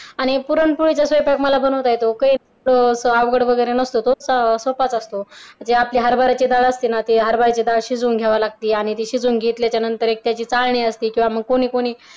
आणि पुरणपोळीचा स्वयंपाक आम्हाला बनवता येतो काही अवघड वगैरे नसतो तो सोपाच असतो जी आपली हरभराची डाळ असते ना ती डाळ शिजवून घ्यावी लागते आणि ती शिजवून घेतल्याच्या नंतर एक त्याची चाळणी असते किंवा मग कोणी कोणी